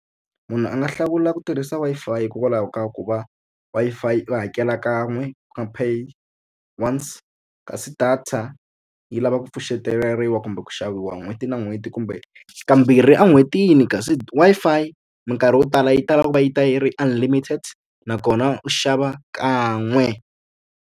Munhu a nga hlawula ku tirhisa Wi-Fi hikokwalaho ka ku va Wi-Fi u hakela kan'we pay once. Kasi data yi lava ku pfuxeteleriwa kumbe ku xaviwa n'hweti na n'hweti kumbe ka mbirhi en'hwetini. Kasi Wi-Fi minkarhi yo tala yi tala ku va yi ta yi ri unlimited nakona u xava kan'we.